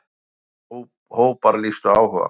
Átján hópar lýstu áhuga.